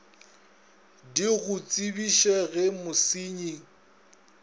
di go tsebiše ge mosenyi